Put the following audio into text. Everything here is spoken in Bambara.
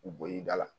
U bɔ i da la